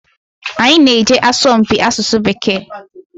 Anyị na-eje asọmpi asụsụ Bekee.